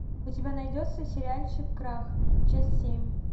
у тебя найдется сериальчик крах часть семь